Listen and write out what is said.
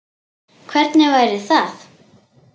Hvernig væri það?